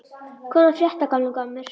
Hvað er að frétta, gamli gammur?